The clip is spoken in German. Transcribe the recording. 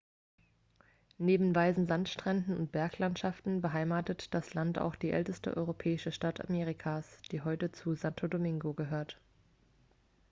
neben weißen sandstränden und berglandschaften beheimatet das land auch die älteste europäische stadt amerikas die heute zu santo domingo gehört